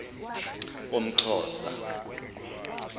umxhosa